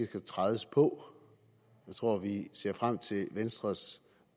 kan trædes på jeg tror at vi ser frem til venstres